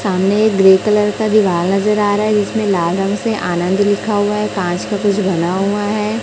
सामने grey colour का दिवाल नजर आ रहा है जिसमें लाल रंग से आनंद लिखा हुआ है कांच का कुछ बना हुआ है।